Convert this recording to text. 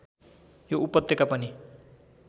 यो उपत्यका पनि